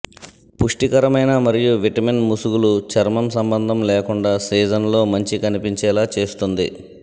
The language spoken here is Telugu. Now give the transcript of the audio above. పుష్టికరమైన మరియు విటమిన్ ముసుగులు చర్మం సంబంధం లేకుండా సీజన్లో మంచి కనిపించేలా చేస్తుంది